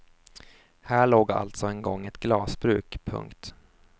Här låg alltså en gång ett glasbruk. punkt